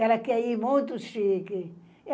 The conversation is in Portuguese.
Ela quer ir muito chique.